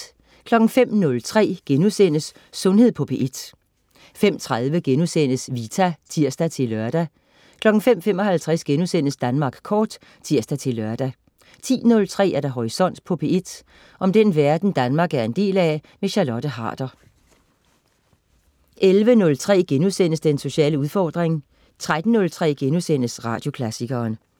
05.03 Sundhed på P1* 05.30 Vita* (tirs-lør) 05.55 Danmark Kort* (tirs-lør) 10.03 Horisont på P1. Om den verden Danmark er en del af. Charlotte Harder 11.03 Den sociale udfordring* 13.03 Radioklassikeren*